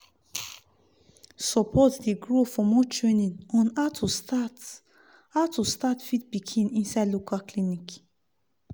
support dey grow for more training on how to start how to start feed pikin inside local clinic